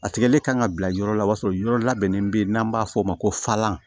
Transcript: A tigɛli kan ka bila yɔrɔ la o b'a sɔrɔ yɔrɔ labɛnnen bɛ yen n'an b'a fɔ o ma ko falan